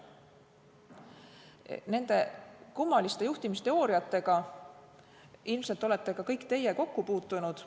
Nende kummaliste juhtimisteooriatega olete ilmselt ka kõik teie kokku puutunud.